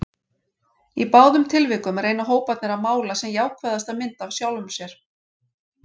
Í báðum tilvikum reyna hóparnir að mála sem jákvæðasta mynd af sjálfum sér.